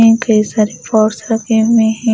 इनके सारे पार्ट रखे हुए हैं।